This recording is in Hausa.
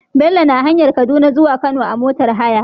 Bello na hanyar kaduna zuwa kano a motar haya